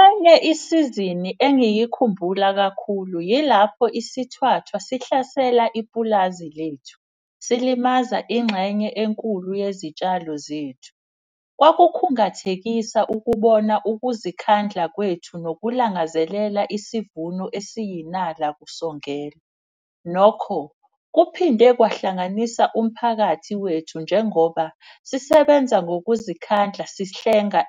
Enye isizini engiyikhumbula kakhulu yilapho isithwathwa sihlasela ipulazi lethu, silimaza ingxenye enkulu yezitshalo zethu. Kwakukhungathekisa ukubona ukuzikhandla kwethu nokulangazelela isivuno esiyinala kusongela. Nokho kuphinde kwahlanganisa umphakathi wethu njengoba sisebenza ngokuzikhandla.